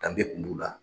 Danbe kun b'u la